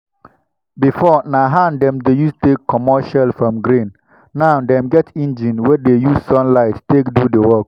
before na hand dem dey use take comot shell from grain. now dem get engine wey dey use sunlight take do the work.